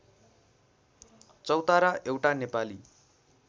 चौतारा एउटा नेपाली